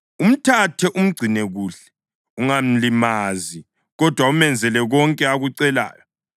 “Umthathe, umgcine kuhle; ungamlimazi kodwa umenzele konke akucelayo.”